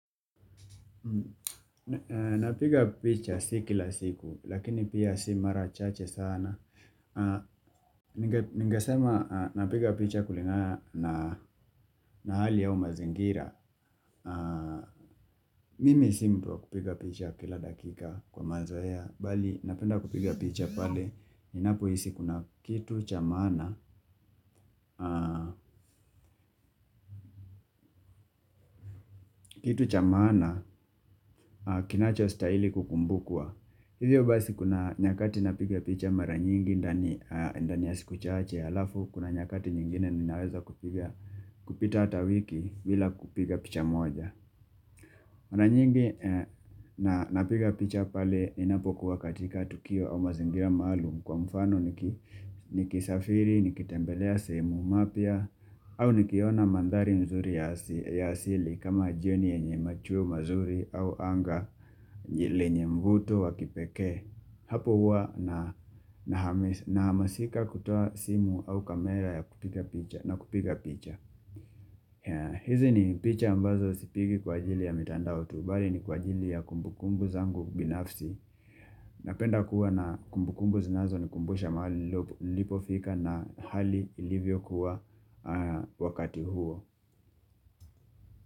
Napiga picha si kila siku lakini pia si mara chache sana. Ningesema napiga picha kulingana na hali au mazingira Mimi si mtu wa kupiga picha kila dakika kwa mazoea bali napenda kupiga picha pale ninapohisi kuna kitu cha maana Kitu cha maana kinachostahili kukumbukwa Hivyo basi kuna nyakati napiga picha mara nyingi ndani ya siku chache halafu, kuna nyakati nyingine ninaweza kupita hata wiki bila kupiga hata picha moja. Mara nyingi napiga picha pale ninapokuwa katika tukio au mazingira maalum kwa mfano nikisafiri, nikitembelea semu mapya, au nikiona mandhari nzuri ya asili kama jioni yenye machuo mazuri au anga lenye mvuto wa kipekee Hapo huwa nahamasika kutoa simu au kamera na kupiga picha hizi ni picha ambazo sipigi kwa ajili ya mitandao tu bali ni kwa ajili ya kumbukumbu zangu binafsi Napenda kuwa na kumbukumbu zinazonikumbusha mahali nilipofika na hali ilivyokuwa wakati huo.